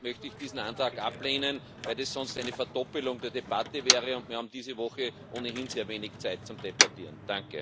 Deshalb möchte ich diesen Antrag ablehnen, weil das sonst eine Verdoppelung der Debatte wäre, und wir haben diese Woche ohnehin sehr wenig Zeit zum Debattieren.